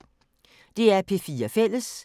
DR P4 Fælles